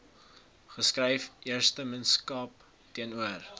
geskryf eersteministerskap teenoor